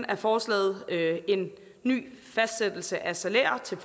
af forslaget en ny fastsættelse af salærer til